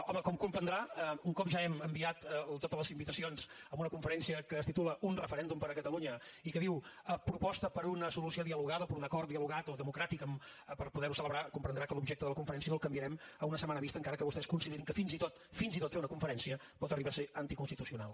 home com comprendrà un cop ja hem enviat totes les invitacions a una conferència que es titula un referèndum per a catalunya i que diu proposta per una solució dialogada o per un acord dialogat o democràtic per poder ho celebrar comprendrà que l’objecte de la conferència no el canviarem a una setmana vista encara que vostès considerin que fins i tot fins i tot fer una conferència pot arribar a ser anticonstitucional